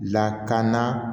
Lakana